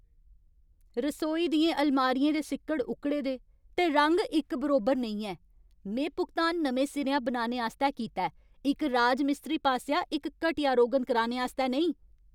रसोई दियें अलमारियें दे सिक्कड़ उक्कड़े दे, ते रंग इक बरोबर नेईं ऐ। में भुगतान नमें सिरेआ बनाने आस्तै कीता ऐ, इक राजमिस्त्री पासेआ इक घटिया रोगन कराने आस्तै नेईं!